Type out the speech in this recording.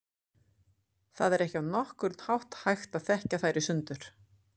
Það er ekki á nokkurn hátt hægt að þekkja þær í sundur.